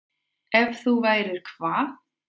Ef þú værir hvað?